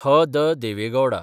H. D.. Deve Gauda